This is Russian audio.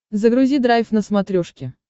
загрузи драйв на смотрешке